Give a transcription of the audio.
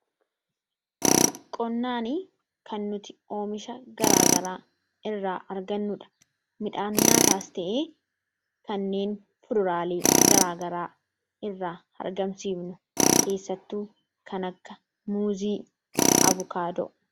qonni kan nuti oomisha garaagaraa irraa argannuudha midhaan nyaataas ta'ee kanneen fururaalii garaagaraa irraa argamsiifnu keessattuu kanagga muuzii abukaadoo